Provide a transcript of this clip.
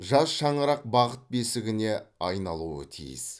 жас шаңырақ бақыт бесігіне айналуы тиіс